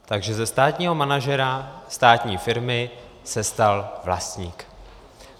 Takže ze státního manažera státní firmy se stal vlastník.